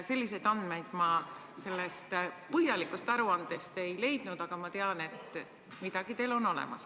Selliseid andmeid ma sellest põhjalikust aruandest ei leidnud, aga ma tean, et midagi teil on olemas.